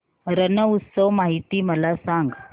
रण उत्सव माहिती मला सांग